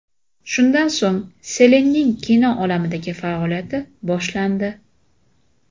Shundan so‘ng Selenning kino olamidagi faoliyati boshlandi.